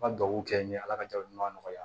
Ma dugawu kɛ n ye ala ka ja ɲuman nɔgɔya